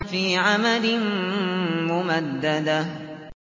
فِي عَمَدٍ مُّمَدَّدَةٍ